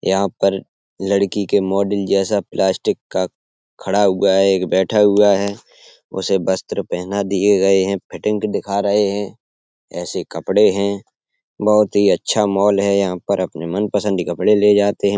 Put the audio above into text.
यहाँ पर लड़की के मॉडल जैसा प्लास्टिक का खड़ा हुआ है एक बेठा हुआ है उसे वस्त्र पहाने दिये गये है फिटिंग देखा रहे है। ऐसे कपड़े है बोहोत ही अच्छा मॉल है। यहाँ पर अपने मनपसन्द के कपड़े ले जाते हैं।